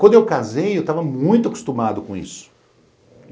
Quando eu casei, eu estava muito acostumado com isso.